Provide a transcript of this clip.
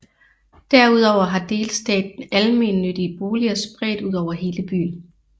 Derudover har delstaten almennyttige boliger spredt ud over hele byen